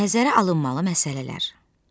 Nəzərə alınmalı məsələlər.